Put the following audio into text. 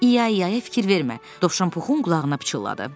İyayaya fikir vermə, dovşan Puxun qulağına pıçıldadı.